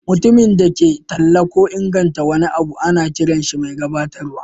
Mutumin da ke talla ko inganta wani abu ana kiran shi mai gabatarwa.